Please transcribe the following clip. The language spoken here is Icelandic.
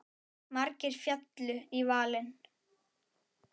Margir féllu í valinn.